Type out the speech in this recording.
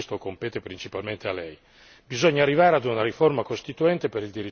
Si tratta adesso di fare il passo successivo e questo compete principalmente a Lei.